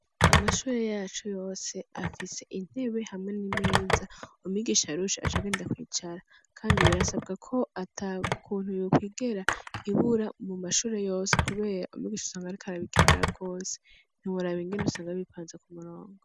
Amashure yacu yose afise intebe hamwe n'imeza umigisha rushi aca aganida kwicara, kandi birasabwe ko ata kuntu yukwigera ibura mu mashure yose kubeya umigisha usanga arikara bikenerra rwose ntimuraba ingene usanga bipanze ku murongo.